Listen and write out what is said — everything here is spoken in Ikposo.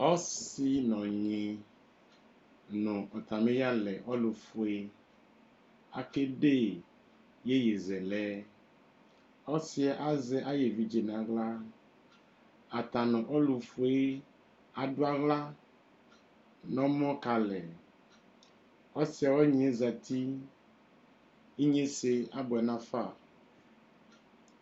ɔsɩ n'ɔnyɩ nu atamiyalɛ ɔlʊfue akede iyeyezɛlɛ ɔsɩɛ azɛ ayevidze n'aɣla ata n'ɔlʊfʊe adʊaɣla n ɔmɔ kalɛ ɔsɩɛ ɔnyiɛ zatɩ inyesɛ abuɛ n'afa